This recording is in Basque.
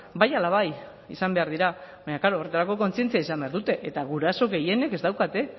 bai ala bai izan behar dira baina klaro horretarako kontzientzia izan behar dute eta guraso gehienek ez daukate